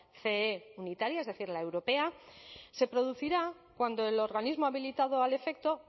ce unitaria es decir la europea se producirán cuando el organismo habilitado al efecto